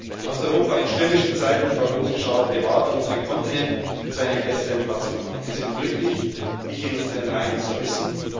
Du hast Europa in stürmischen Zeiten vor großem Schaden bewahrt und unseren Kontinent zu einem besseren Platz gemacht. Wir sind glücklich, Dich in unseren Reihen zu wissen.